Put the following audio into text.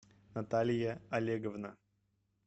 наталья олеговна